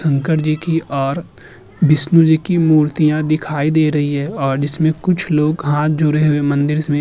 शंकर जी की और विष्णु जी की मूर्तियां दिखाई दे रही हैं और जिसमें कुछ लोग हाथ जोड़े हुए मंदिर्स में --